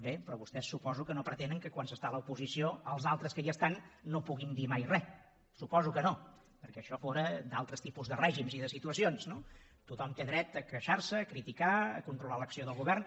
bé però vostès suposo que no pretenen que quan s’està a l’oposició els altres que hi estan no puguin dir mai re suposo que no perquè això fóra d’altres tipus de règims i de situacions no tothom té dret a queixar se a criticar a controlar l’acció del govern